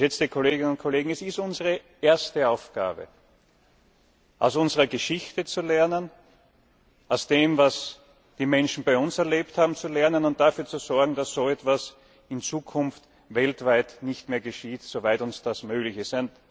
Geschätzte Kolleginnen und Kollegen, es ist unsere erste Aufgabe, aus unserer Geschichte zu lernen, aus dem, was die Menschen bei uns erlebt haben, zu lernen und dafür zu sorgen, dass so etwas in Zukunft weltweit nicht mehr geschieht soweit uns das möglich ist.